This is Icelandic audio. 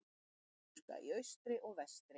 Öskubuska í austri og vestri.